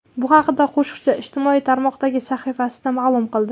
Bu haqda qo‘shiqchi ijtimoiy tarmoqdagi sahifasida ma’lum qildi .